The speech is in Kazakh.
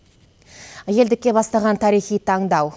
елдікке бастаған тарихи таңдау